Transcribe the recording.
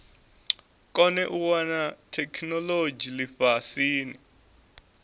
kone u wana theikinolodzhi lifhasini